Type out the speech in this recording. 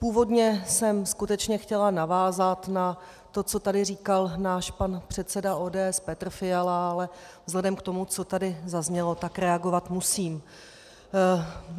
Původně jsem skutečně chtěla navázat na to, co tady říkal náš pan předseda ODS Petr Fiala, ale vzhledem k tomu, co tady zaznělo, tak reagovat musím.